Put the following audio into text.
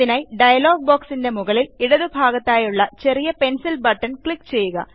അതിനാൽ ഡയലോഗ് ബോക്സിൻറെ മുകളിൽ ഇടതുഭാഗത്തായുള്ള ചെറിയ പെൻസിൽ ബട്ടണിൽ ക്ലിക്ക് ചെയ്യുക